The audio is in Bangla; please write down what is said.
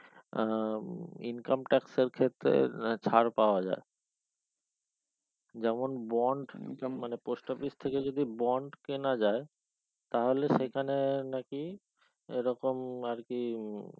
আহ income tax এর ক্ষেত্রের ছাড় পাওয়া যাই যেমন bond income মানে post office থেকে যদি bond কেনা যায় তাহলে সেখানে নাকি এই রকম আরকি উম